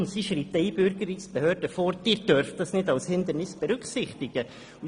Die Wegleitung schreibt den Einbürgerungsbehörden vor, dass sie dies nicht als Hindernis berücksichtigen dürfen.